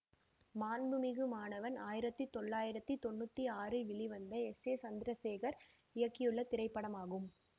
மாண்புமிகு மாணவன் ஆயிரத்தி தொள்ளாயிரத்தி தொன்னூற்தி ஆறில் வெளிவந்த எஸ் ஏ சந்திரசேகர் இயக்கியுள்ள திரைப்படமாகும்